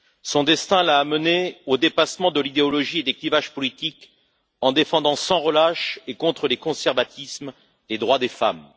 Son destin l'a amenée au dépassement de l'idéologie et des clivages politiques, en défendant, sans relâche et contre les conservatismes, les droits des femmes.